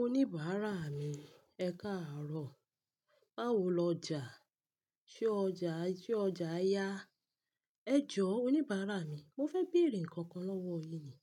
Oníbàárà mi, ẹ káàárọ̀. Báwo lọjà, ṣe ọjà yí jẹ́ ọjà ya? Ẹ jọ́ oníbàárà mi, mo fẹ́ bèèrè nnkan kan lọ́wọ́ yin ni,